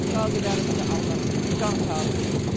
Qazilərimizə Allah can sağlığı versin.